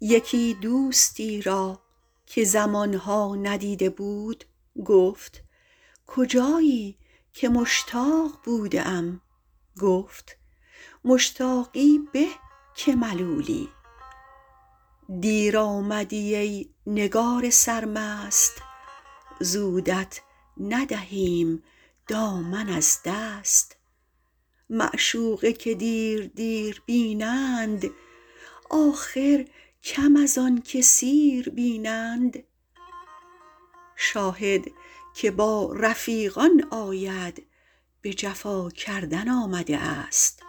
یکی دوستی را که زمان ها ندیده بود گفت کجایی که مشتاق بوده ام گفت مشتاقی به که ملولی دیر آمدی ای نگار سرمست زودت ندهیم دامن از دست معشوقه که دیر دیر بینند آخر کم از آن که سیر بینند شاهد که با رفیقان آید به جفا کردن آمده است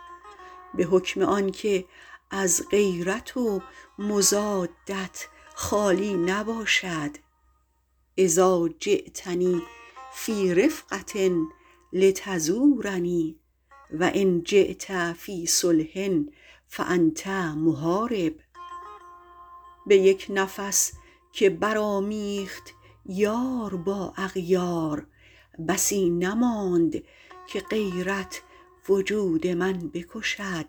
به حکم آن که از غیرت و مضادت خالی نباشد اذٰا جیتنی فی رفقة لتزورنی و ان جیت فی صلح فأنت محارب به یک نفس که برآمیخت یار با اغیار بسی نماند که غیرت وجود من بکشد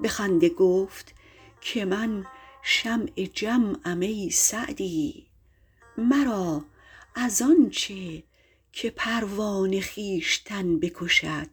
به خنده گفت که من شمع جمعم ای سعدی مرا از آن چه که پروانه خویشتن بکشد